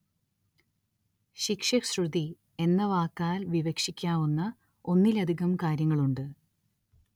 ശിക്ഷ ശ്രുതി എന്ന വാക്കാല്‍ വിവക്ഷിക്കാവുന്ന ഒന്നിലധികം കാര്യങ്ങളുണ്ട്